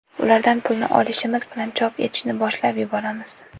Ulardan pulni olishimiz bilan chop etishni boshlab yuboramiz.